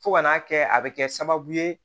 Fo ka n'a kɛ a bɛ kɛ sababu ye